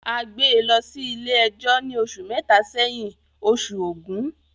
A gbé e lọ sí ilé ẹjọ́ ni oṣù mẹ́ta sí ísin yìí ( oṣù ògún)